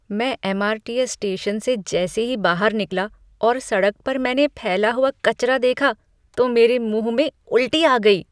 मैं MRTS. Station से जैसे ही बाहर निकला और सड़क पर मैंने फैला हुआ कचरा देखा तो मेरे मुँह में उल्टी आ गई।